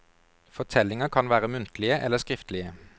Fortellinger kan være muntlige eller skriftlige.